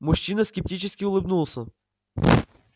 мужчина скептически улыбнулся